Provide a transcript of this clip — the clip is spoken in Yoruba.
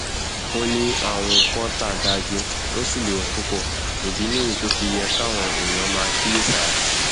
ó ní àrùn kọńtà dájú ó sì léwu púpọ ìdí nìyí tó fi yẹ káwọn èèyàn máa kíyèsára